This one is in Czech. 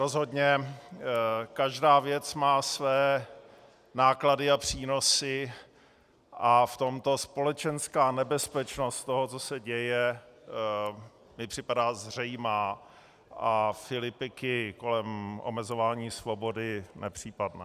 Rozhodně každá věc má své náklady a přínosy a v tomto společenská nebezpečnost toho, co se děje, mi připadá zřejmá a filipiky kolem omezování svobody nepřípadné.